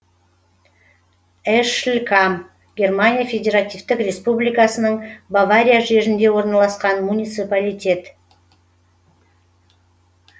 эшлькам германия федеративтік республикасының бавария жерінде орналасқан муниципалитет